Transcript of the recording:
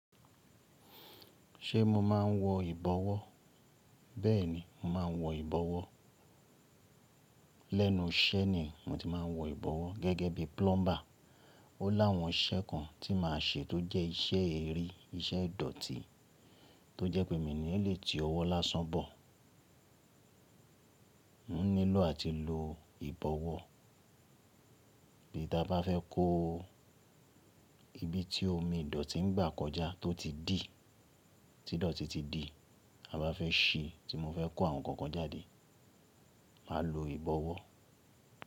Ṣé mo máa ń wọ ìbọwọ́? Bẹ́ẹ̀ni, mo máa ń wọ ìbọwọ́. Lẹ́nu iṣẹ́ ni mo ti máa ń wọ ìbọwọ́ gẹ́gẹ́ bí plumber. Ó láwọn iṣẹ́ kan tí màá ṣe tó jẹ́ iṣẹ́ eri, iṣẹ́ ìdọ̀tí tó jẹ́ pé èmi ni lè ti ọwọ́ lásán bọ̀. Mo nílò àti lo ìbọwọ́ bí ta bá fẹ́ kó ibi tí omi ìdọ̀tí ń gbà kọjá tó ti dì, tí ìdọ̀tí ti di, a bá fẹ́ ṣí tí mo fẹ́ kó àwọn nǹkan kan jáde, màá lo ìbọwọ́.